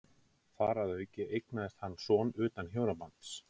Þar að auki eignaðist hann son utan hjónabands.